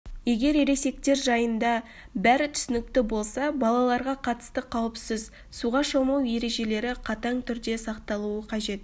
егер ересектер жайында бәрі түсінікті болса балаларға қатысты қауіпсіз суға шомылу ережелері қатаң түрде сақталуы қажет